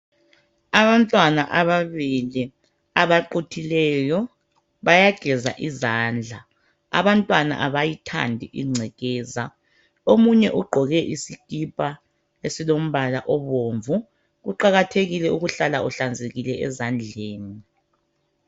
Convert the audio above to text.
Abantwana ababili abaquthileyo bayageza izandla, abantwana abayithandi ingcekeza, omunye ugqoke isikipa esilombala obomvu, Kuqakathekile ukuhlala uhlanzekile ezandleni.